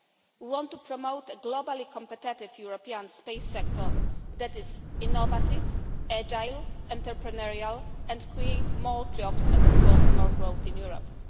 We want to promote a globally-competitive European space sector that is innovative, agile and entrepreneurial, and create more jobs and, of course, more growth in Europe.